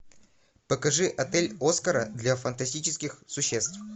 покажи отель оскара для фантастических существ